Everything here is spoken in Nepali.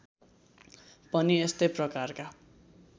पनि यस्तै प्रकारका